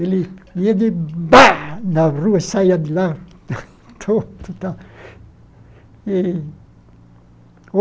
Ele ia de bá na rua e saía de lá todo tal e.